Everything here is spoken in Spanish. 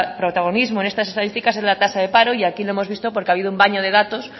protagonismo en estas estadísticas es la tasa de paro y aquí lo hemos visto porque ha habido un baño de datos